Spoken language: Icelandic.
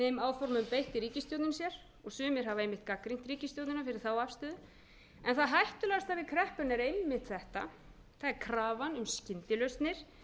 ákvörðunum beitti ríkisstjórnin sér og sumir hafa einmitt gagnrýnt ríkisstjórnina fyrir þá afstöðu en það hættulegasta við kreppuna er einmitt þetta það er krafan um skyndilausnir